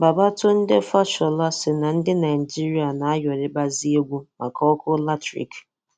Babatunde Fashola sị na ndị Naịjirịa na ayọrịbazi egwu maka ọkụ latrik